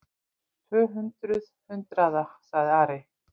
Tvö hundruð hundraða, sagði Ari.